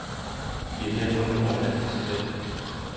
De er derfor nu overladt til sig selv.